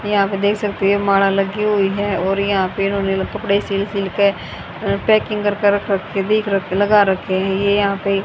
यहां पे देख सकते हो मांड़ा लगी हुई है और यहां पे इन्होंने कपड़े सिल सिल के अ पैकिंग कर कर के दिख लगा रखे है ये यहां पे --